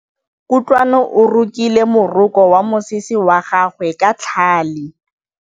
Kutlwanô o rokile morokô wa mosese wa gagwe ka tlhale.